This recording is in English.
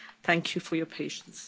Thank you for your patience.